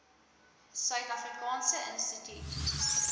suid afrikaanse instituut